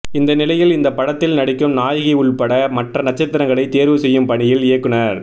இந்த நிலையில் இந்த படத்தில் நடிக்கும் நாயகி உள்பட மற்ற நட்சத்திரங்களை தேர்வு செய்யும் பணியில் இயக்குனர்